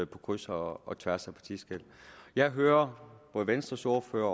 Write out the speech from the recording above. på kryds og og tværs af partiskel jeg hører både venstres ordfører